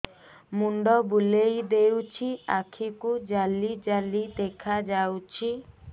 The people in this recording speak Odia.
ମୁଣ୍ଡ ବୁଲେଇ ଦେଉଛି ଆଖି କୁ ଜାଲି ଜାଲି ଦେଖା ଯାଉଛି